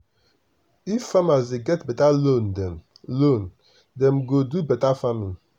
if farmers dey get beta loan dem loan dem go do beta farming.